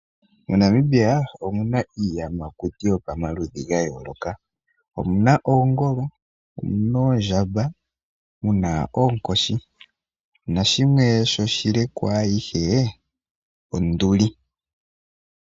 Monamibia omuna iiyamakuti yomaludhi ga yooloka. Omuna oongolo, omuna oondjamba, muna oonkoshi nashimwe shi oshile kwaayihe onduli.